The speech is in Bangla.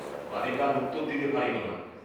বালিকা আর উত্তর দিতে পারিল না।